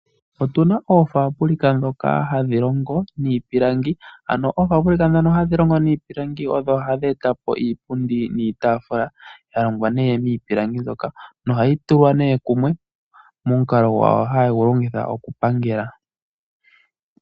Oofabulika ndhoka hadhi longo iipilangi odho hadhi etapo, iitafula niipundi yalongwa miipilangi moka nohayi tulwa kumwe, momukalo gwawo hayegu longitha okupangela.